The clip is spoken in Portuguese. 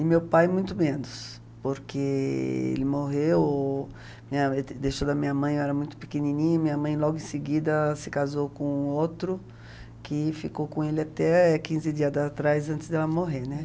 E meu pai muito menos, porque ele morreu, deixou da minha mãe, eu era muito pequenininha, minha mãe logo em seguida se casou com outro, que ficou com ele até quinze dias atrás, antes de ela morrer, né?